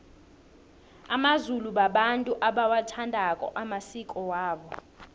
amazulu babantu abawathandako amasiko amasiko wabo